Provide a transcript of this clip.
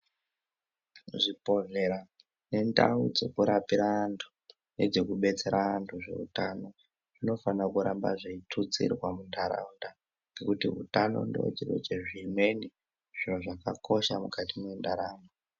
Zvibhedhlera nendau dzekurapira antu nedzekubetsera antu zveutano zvinofanira kuramba dzeitutsirwa muntaraunda nekuti utano ndicho chiro chezvimweni chakakosha mukati mwendaramo.